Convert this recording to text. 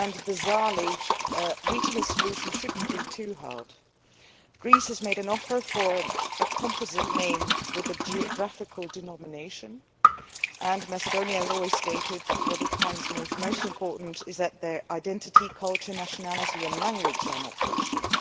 Bizarrely, reaching a solution should not be too hard. Greece has made an offer for a composite name with a geographical denomination, and Macedonia has always stated that what it finds most important is that its identity, culture, nationality and language are not questioned.